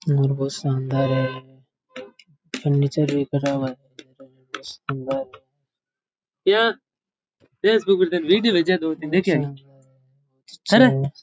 घर बोहोत शानदार है फर्नीचर भी करा हुआ है बोहोत शानदार है अच्छा है बोहोत अच्छा है।